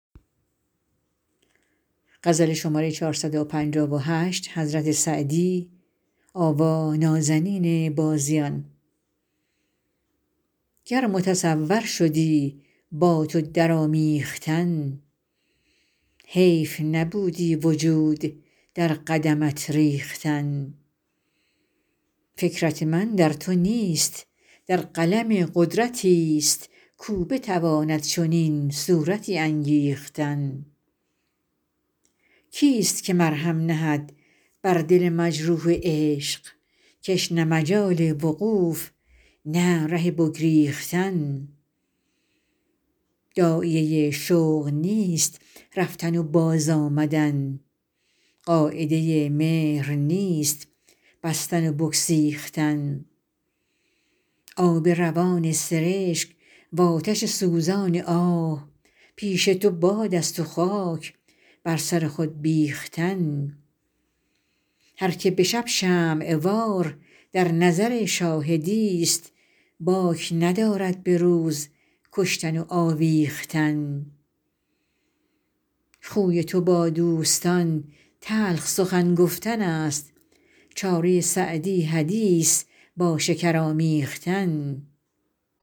گر متصور شدی با تو در آمیختن حیف نبودی وجود در قدمت ریختن فکرت من در تو نیست در قلم قدرتی ست کاو بتواند چنین صورتی انگیختن کی ست که مرهم نهد بر دل مجروح عشق که ش نه مجال وقوف نه ره بگریختن داعیه شوق نیست رفتن و باز آمدن قاعده مهر نیست بستن و بگسیختن آب روان سرشک وآتش سوزان آه پیش تو باد است و خاک بر سر خود بیختن هر که به شب شمع وار در نظر شاهدی ست باک ندارد به روز کشتن و آویختن خوی تو با دوستان تلخ سخن گفتن است چاره سعدی حدیث با شکر آمیختن